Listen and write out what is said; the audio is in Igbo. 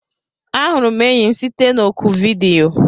Ahụrụ m enyi m site na oku vidiyo.